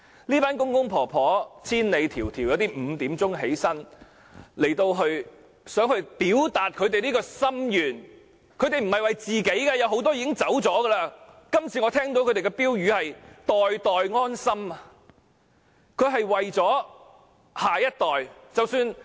這群公公婆婆千里迢迢前來，有些早上5時便起床，希望來表達他們這個心願，他們不是為了自己，我聽到他們今次的標語是"代代安心"，他們是為了下一代。